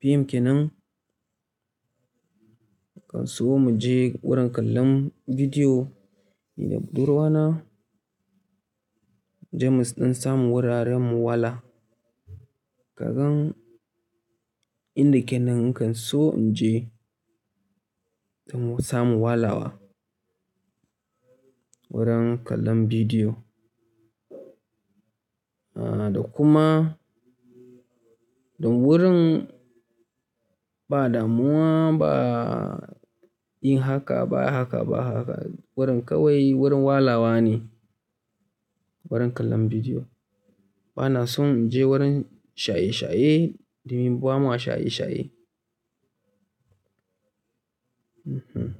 fim kenan. Nakan so mu je wurin kallon bidiyo, ni da budurwa na, muje mu ɗan samun wuraren mu wala. Kagan inda kenan nakan so in je, saboda samun walawa wurin kallon bidiyo. Ah, da kuma, don wurin ba damuwa ba yi haka ba haka ba haka. Wurin kawai wurin walawa ne wurin kallon bidiyo. Ba na son in je wurin shaye-shaye domin ba ma shaye-shaye. Mhm.